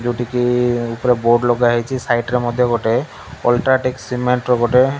ଟିକେ ଉପରେ ବୋର୍ଡ ଲଗା ହେଇଛି ସାଇଡ ରେ ମଧ୍ୟ ଗୋଟେ ଆଲଟ୍ରାଟେକ୍ ସିମେଣ୍ଟ ର ଗୋଟେ --